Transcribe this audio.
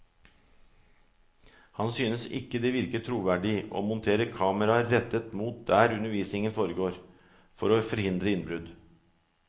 Han synes ikke det virker troverdig å montere kameraer rettet mot der undervisningen foregår, for å forhindre innbrudd.